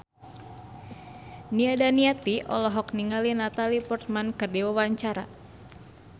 Nia Daniati olohok ningali Natalie Portman keur diwawancara